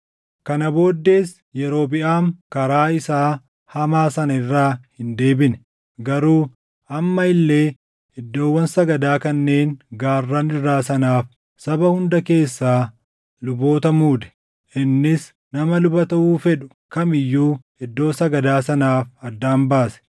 Kana booddees Yerobiʼaam karaa isaa hamaa sana irraa hin deebine; garuu amma illee iddoowwan sagadaa kanneen gaarran irraa sanaaf saba hunda keessaa luboota muude. Innis nama luba taʼuu fedhu kam iyyuu iddoo sagadaa sanaaf addaan baase.